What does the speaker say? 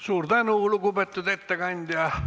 Suur tänu, lugupeetud ettekandja!